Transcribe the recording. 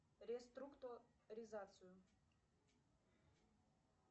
реструктуризацию